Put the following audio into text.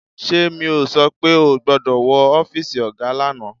Ṣé mi ò sọ pé ò gbọ́dọ̀ wọ ọ́fíìsì ọ̀gá lánàá